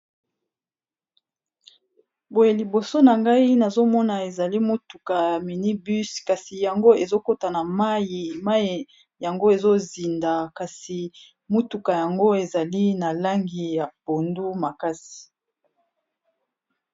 Boye liboso na ngai nazomona ezali motuka ya mini bus kasi yango ezokota na mayi, mayi yango ezozinda kasi motuka yango ezali na langi ya pondu makasi.